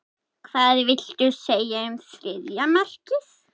Hvað viltu segja um þriðja markið?